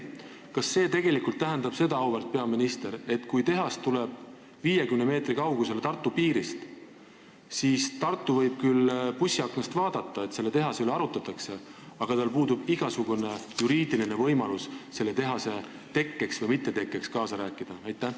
Kas see tähendab seda, auväärt peaminister, et kui tehas tuleb 50 meetri kaugusele Tartu piirist, siis Tartu võib küll bussiaknast vaadata, et selle tehase üle arutatakse, aga tal puudub igasugune juriidiline võimalus selle tehase tekkes või mittetekkes kaasa rääkida?